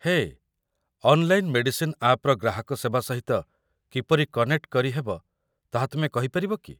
ହେଏ, online medicine ଆପ୍‌ର ଗ୍ରାହକ ସେବା ସହିତ କିପରି କନେକ୍ଟ କରିହେବ ତାହା ତୁମେ କହିପାରିବ କି?